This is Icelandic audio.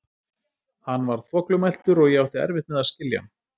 Hann var þvoglumæltur, og ég átti erfitt með að skilja hann.